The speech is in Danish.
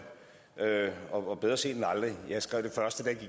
og bedre sent end aldrig jeg skrev